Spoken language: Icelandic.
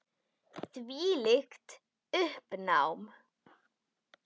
Þvílíkt uppnám.